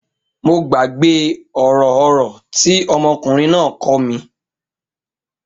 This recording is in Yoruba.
Mo gbàgbé ọ̀rọ̀ ọ̀rọ̀ tí ọmọkùnrin náà kọ́ mi.